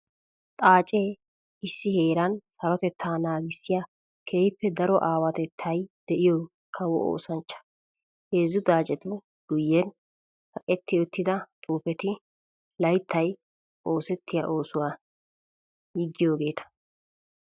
Xaace issi heera sarotetta naagissiya keehippe daro awatetta de'iyo kawo oosanchcha. Heezzu xaacetu guyen kaqqetti uttidda xuufetti layttay oosettiya oosuwa yiggiyogetta.